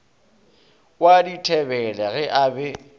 wa dithebele ge a be